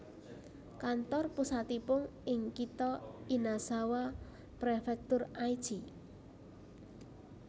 Kantor pusatipun ing kitha Inazawa Prefektur Aichi